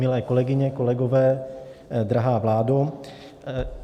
Milé kolegyně, kolegové, drahá vládo.